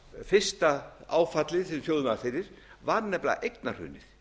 fyrsta áfallið sem þjóðin varð fyrir var nefnilega eignahrunið